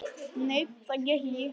Nei, það gekk ekki.